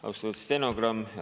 Austatud stenogramm!